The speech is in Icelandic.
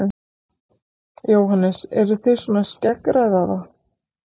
Jóhannes: Eruð þið svona að skeggræða það?